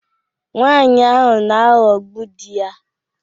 Nwanyị ahụ na-aghọgbu di ya